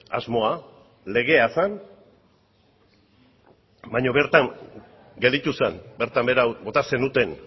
asmoa legea zen baina bertan gelditu zen bertan behera bota zenuten